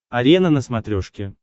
арена на смотрешке